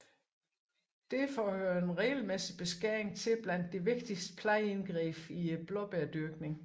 Derfor hører en regelmæssig beskæring til blandt de vigtigste plejeindgreb i blåbærdyrkningen